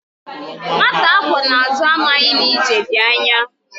Nwata akwọ n'azụ amaghị na ije dị anya